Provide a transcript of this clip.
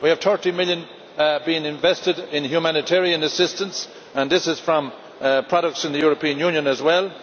We have EUR 30 million being invested in humanitarian assistance, and this is from products in the European Union as well.